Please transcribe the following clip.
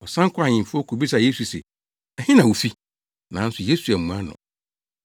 Ɔsan kɔɔ ahemfi hɔ kobisaa Yesu se, “Ɛhe na wufi?” Nanso Yesu ammua no.